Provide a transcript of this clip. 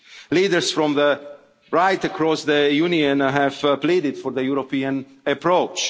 events. Leaders from right across the Union have pleaded for the European